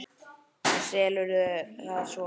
Og selurðu það svo?